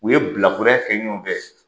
U ye bilakoro ya kɛ ɲɔgɔn fɛ.